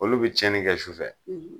Olu bi tiɲɛni kɛ sufɛ